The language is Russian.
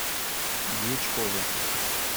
дьячкове